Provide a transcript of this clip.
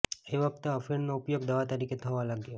એ વખતે અફીણનો ઉપયોગ દવા તરીકે થવા લાગ્યો